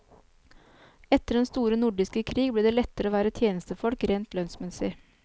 Etter den store nordiske krig, ble det lettere å være tjenestefolk rent lønnsmessig.